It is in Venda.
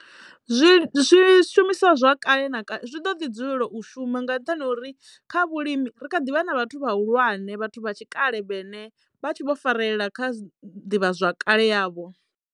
Zwi zwishumiswa zwa kale na zwi ḓo ḓi dzulela u shuma nga nṱhani ho uri kha vhulimi ri kha ḓivha na vhathu vhahulwane vhathu vha tshikale vhene vha tshi vho farelela kha ḓivha zwakale yavho.